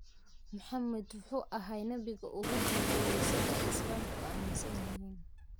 Muxammad wuxuu ahaa nebigii ugu dambeeyay, sida ay Islaamku aaminsanyixin.